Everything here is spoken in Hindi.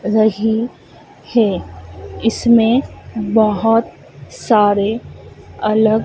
रही है इसमें बहुत सारे अलग--